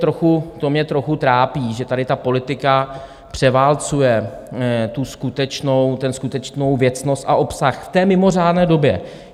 To mě trochu trápí, že tady ta politika převálcuje tu skutečnou věcnost a obsah v té mimořádné době.